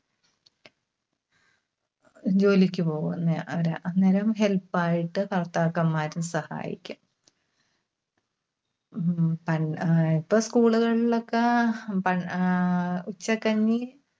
ജോലിക്ക് പോകുന്ന അവരാ. അന്നേരം help ആയിട്ട് ഭർത്താക്കന്മാരും സഹായിക്കും. ഉം പണ്ട്, ഇപ്പോ school കളിലൊക്കെ അഹ് പ ആഹ് ഉച്ചക്കഞ്ഞി